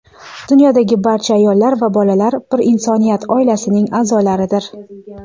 Dunyodagi barcha ayollar va bolalar bir insoniyat oilasining a’zolaridir.